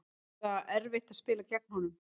Eða erfitt að spila gegn honum?